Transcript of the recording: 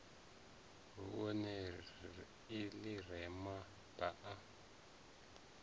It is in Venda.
vhunṋe ḽi re na baa